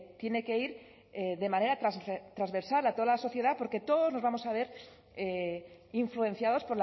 tiene que ir de manera transversal a toda la sociedad porque todos nos vamos a ver influenciados